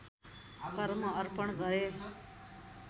कर्म अर्पण गरे